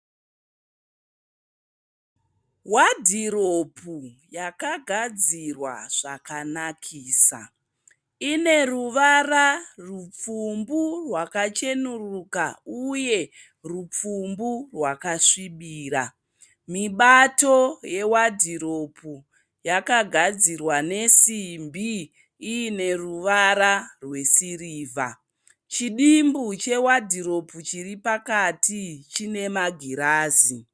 Wadhiropu yakagadzirwa zvakanakisa. Ine ruvara rupfumbu rwakachenuruka uye rupfumbu rwakasvibira. Mibato yewadhiropu yakagadzirwa nesimbi ine ruvara rwesirivha. Chidimbu chewadhiropu chiri pakati chine magirazi.